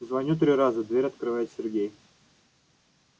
звоню три раза дверь открывает сергей